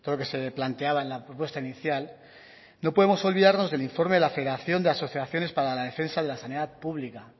que se planteaba en la propuesta inicial no podemos olvidarnos del informe de la federación de asociaciones para la defensa de la sanidad pública